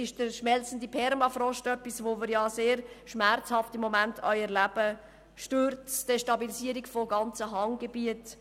Der schmelzende Permafrost ist etwas, das wir im Moment sehr schmerzhaft erleben: Bergstürze und Destabilisierungen von ganzen Hanggebieten.